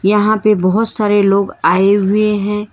यहां पे बहोत सारे लोग आए हुए हैं।